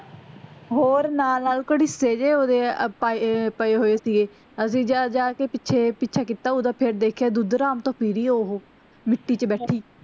ਹੋਰ ਨਾਲ ਨਾਲ ਘੜੀਸੇ ਗਏ ਓਹਦੇ ਆਪਾਂ ਏਹੇ ਪਏ ਹੋਏ ਸੀਗੇ ਅਸੀਂ ਜਾ ਜਾ ਕ ਪਿਛੇ ਪਿੱਛਾ ਕਿੱਤਾ ਓਹਦਾ, ਫੇਰ ਦੇਖਿਆ ਦੁੱਧ ਹਰਾਮ ਤਾਂ ਪੂਰੀ ਐ ਓਹੋ ਮਿੱਟੀ ਚ ਬੈਠੀ